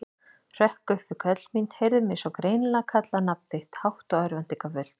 Hrökk upp við köll mín, heyrði mig svo greinilega kalla nafn þitt, hátt og örvæntingarfullt.